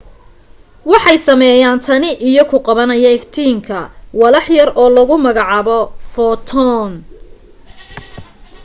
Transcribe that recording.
waxay sameeyaan tani iyo ku qabanaya iftiinka walax yar oo lagu magacaabo footoon